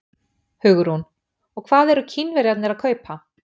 Hugrún: Og hvað eru Kínverjarnir að kaupa?